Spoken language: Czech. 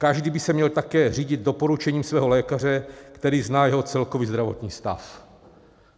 Každý by se měl také řídit doporučením svého lékaře, který zná jeho celkový zdravotní stav."